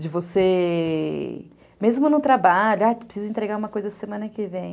De você... Mesmo no trabalho, ah, preciso entregar uma coisa semana que vem.